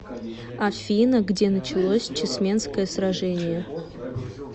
афина где началось чесменское сражение